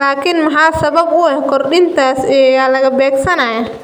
Laakiin maxaa sabab u ah kordhintaas iyo yaa la beegsanayaa?